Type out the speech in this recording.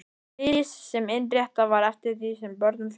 Ris sem innréttað var eftir því sem börnum fjölgaði.